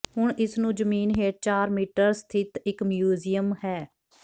ਹੁਣ ਇਸ ਨੂੰ ਜ਼ਮੀਨ ਹੇਠ ਚਾਰ ਮੀਟਰ ਸਥਿਤ ਇੱਕ ਮਿਊਜ਼ੀਅਮ ਹੈ